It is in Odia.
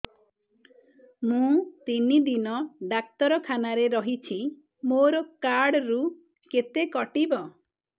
ମୁଁ ତିନି ଦିନ ଡାକ୍ତର ଖାନାରେ ରହିଛି ମୋର କାର୍ଡ ରୁ କେତେ କଟିବ